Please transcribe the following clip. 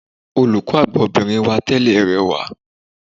Olùkọ́ àgbà obìnrin wa tẹ́lẹ̀ rẹwà.